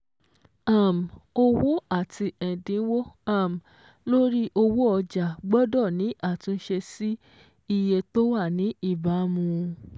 um Owó àti ẹ̀dínwó um lórí owó ọjà gbọ́dọ̀ ní àtúnṣe sí iye tó wà ní ìbámu.